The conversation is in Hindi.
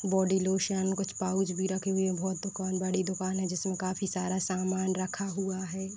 बोडी लोशन कुछ पाउच भी रखे हुए हैं। बहोत दुकान बड़ी दुकान है जिसमें काफ़ी सारा सामान रखा हुआ है।